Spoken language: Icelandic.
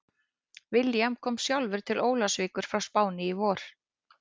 William kom sjálfur til Ólafsvíkur frá Spáni í vor.